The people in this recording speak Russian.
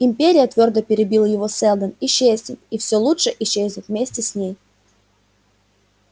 империя твёрдо перебил его сэлдон исчезнет и всё лучшее исчезнет вместе с ней